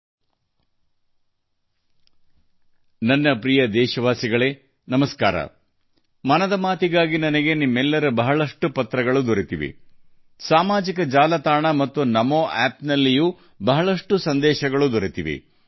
ನಮಸ್ಕಾರ ನನ್ನ ಪ್ರೀತಿಯ ದೇಶವಾಸಿಗಳಿಗೆ ನಮಸ್ಕಾರ ಮನ್ ಕಿ ಬಾತ್ಗಾಗಿ ನಿಮ್ಮೆಲ್ಲರಿಂದ ನನಗೆ ಅನೇಕ ಪತ್ರಗಳು ಬಂದಿವೆ ನಾನು ಸಾಮಾಜಿಕ ಮಾಧ್ಯಮ ಮತ್ತು ನಮೋಆಪ್ NaMoApp ನಲ್ಲಿ ಹಲವಾರು ಸಂದೇಶಗಳನ್ನು ಸ್ವೀಕರಿಸಿದ್ದೇನೆ